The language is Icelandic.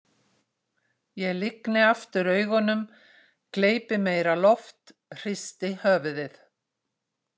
Ég lygni aftur augunum, gleypi meira loft, hristi höfuðið.